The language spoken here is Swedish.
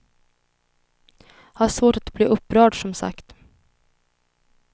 Har svårt att bli upprörd, som sagt.